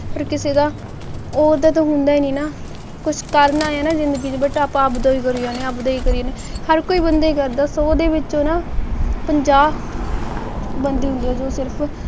ਪਰ ਕਿਸੇ ਦਾ ਪੁੱਤ ਹੁੰਦੇ ਨੇ ਨਾ ਕੁਛ ਕਰਨਾ ਐ ਨਾ ਜਿੰਦਗੀ ਵਿੱਚ ਆਪਾ ਆਪ ਦਾ ਈ ਕਰੀ ਜਾੰਦੇ ਆਪ ਦਾ ਈ ਕਰੀ ਜਾੰਦੇ ਹਰ ਹੋਈ ਬੰਦਾ ਸੋ ਵਿਚੋਂ ਨਾ ਪੰਜਾਹ ਬੰਦੇ ਹੁੰਦੇ ਜੋ ਸਿਰਫ